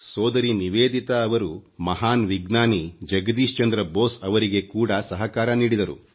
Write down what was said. ಸೋದರಿ ನಿವೇದಿತಾರವರು ಮಹಾನ್ ವಿಜ್ಞಾನಿ ಜಗದೀಶ್ ಚಂದ್ರ ಬೋಸ್ ಅವರಿಗೆ ಕೂಡ ಸಹಕಾರ ನೀಡಿದರು